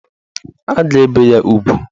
A ga-ebe ya ugwu